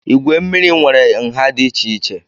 Igwe mmiri nwere nha dị iche iche